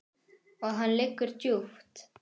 Og hann liggur djúpt